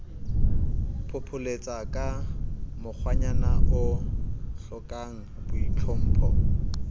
phopholetsaka ka mokgwanyana o hlokangboitlhompho